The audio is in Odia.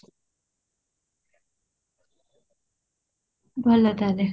ଭଲ ତାହେଲେ